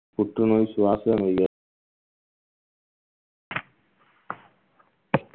புற்றுநோய் சுவாசம்